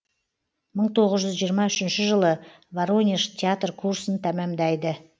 мың тоғыз жүз жиырма үшінші жылы воронеж театр курсын тәмамдайды